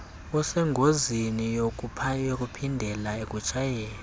usengozini yokuphindela ekutshayeni